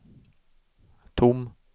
tom